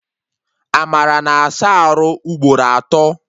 Amara na-asa arụ ugboro atọ